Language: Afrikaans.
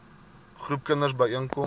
groepe kinders byeenkom